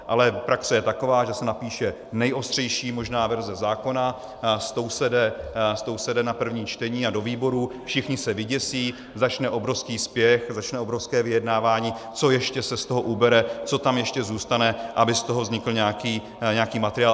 Ale praxe je taková, že se napíše nejostřejší možná verze zákona, s tou se jde na první čtení a do výborů, všichni se vyděsí, začne obrovský spěch, začne obrovské vyjednávání, co ještě se z toho ubere, co tam ještě zůstane, aby z toho vznikl nějaký materiál.